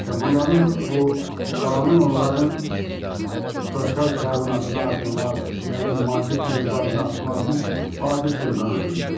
Və bunların bu qanun onların sosial təminatını artırmaq, nə bilim maddi texniki bazasını artırmaq üçün vacib bir qanundur.